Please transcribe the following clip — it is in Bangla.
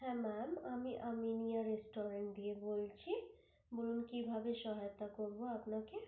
হ্যাঁ Ma'am আমি Aminia Restaurant থেকে বলছি বলুন আমি কি ভাবে সহায়তা করবো আপনাকে?